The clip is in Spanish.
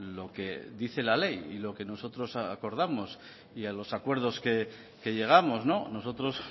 lo que dice la ley y lo que nosotros acordamos y a los acuerdos que llegamos nosotros